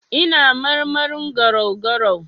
Ina marmarin garau-garau.